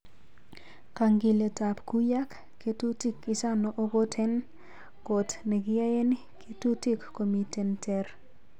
Kangiletap kuyak ketutik ichano okot en kot nekiyaen kitutik komiten ter.